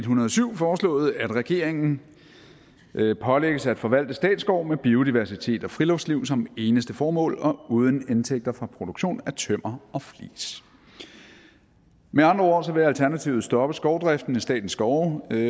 hundrede og syv foreslået at regeringen pålægges at forvalte statsskov med biodiversitet og friluftsliv som eneste formål og uden indtægter fra produktion af tømmer og flis med andre ord vil alternativet stoppe skovdriften i statens skove